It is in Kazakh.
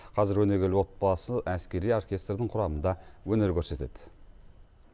қазір өнегелі отбасы әскери оркестрдің құрамында өнер көрсетеді